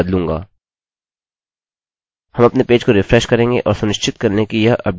हम अपने पेज को रिफ्रेशrefresh करेंगे और सुनिश्चित कर लें कि यह अपडेट किया हुआ है